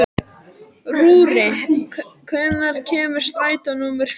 Rúrí, hvenær kemur strætó númer fjögur?